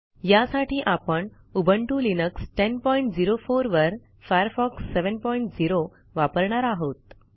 यासाठी आपण Ubuntu Linux 1004 वर फायरफॉक्स 70 वापरणार आहोत